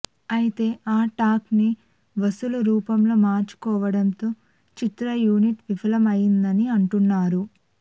అయితే ఆ టాక్ ని వసూళ్ళ రూపంలో మార్చుకోవడంతో చిత్ర యూనిట్ విఫలం అయిందని అంటున్నారు